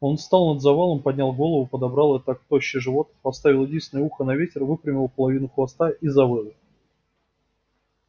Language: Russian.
он стал над завалом поднял голову подобрал и так тощий живот поставил единственное ухо на ветер выпрямил половину хвоста и завыл